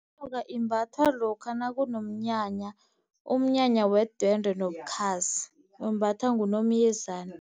Inyoka imbathwa lokha nakunomnyanya umnyanya wedwendwe nobukhazi, imbathwa nguNomyezana.